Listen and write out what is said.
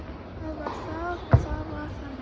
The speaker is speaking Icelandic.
Það var það og það var þannig.